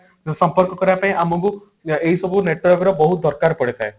ସମ୍ପର୍କ କରିବା ପାଇଁ ଆମକୁ ଏଇ ସବୁ network ର ବହୁତ ଦରକାର ପଡିଥାଏ